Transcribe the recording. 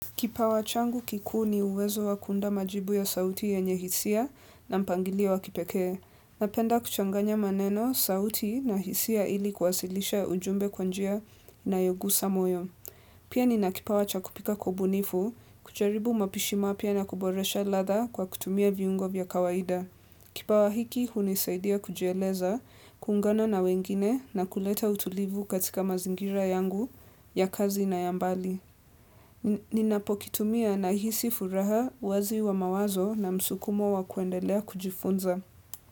Kipawa changu kikuu ni uwezo wa kuunda majibu ya sauti yenye hisia na mpangilio wa kipekee. Napenda kuchanganya maneno, sauti na hisia ili kuwasilisha ujumbe kwa njia inayogusa moyo. Pia nina kipawa cha kupika kwa ubunifu, kujaribu mapishi mapya na kuboresha ladha kwa kutumia viungo vya kawaida. Kipawa hiki hunisaidia kujieleza, kuungana na wengine na kuleta utulivu katika mazingira yangu ya kazi na ya mbali. Ninapokitumia nahisi furaha uwazi wa mawazo na msukumo wa kuendelea kujifunza.